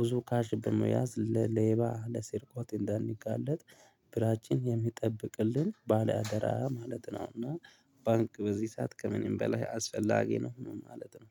ብዙ ካሽ በመያዝ ለሌባ ለስርቆት እንዳንጋለጥ ብራችን የሚጠብቅልን ባለአደራ ማለት ነው፤ እና ባንክ በዚህ ሰዓት ከምንም በላይ አስፈላጊ ነው ማለት ነው።